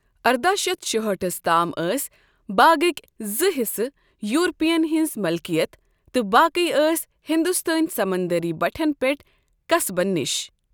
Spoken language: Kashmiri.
ارداہ شتھ شُہٲٹھس تام ٲسۍ باغٕکۍ زٕ حِصہٕ یورپیَن ہٕنٛز مِلکیَت تہٕ باقٕی ٲس ہنٛدوستٲنی سمنٛدری بَٹھٮ۪ن پٮ۪ٹھ قصبَن نِش۔